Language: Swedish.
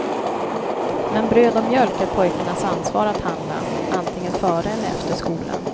Men bröd och mjölk är pojkarnas ansvar att handla, antingen före eller efter skolan.